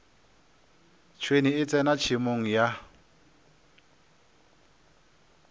tšhwene e tsena tšhemong ya